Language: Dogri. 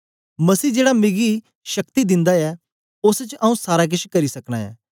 मसीह जेड़ा मिकी शक्ति दिन्दा ऐ ओस च आऊँ सारा केछ करी सकना ऐं